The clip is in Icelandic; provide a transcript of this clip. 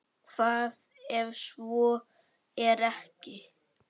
Hvað ef svo er ekki?